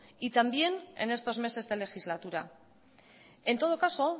y también en estos meses de legislatura en todo caso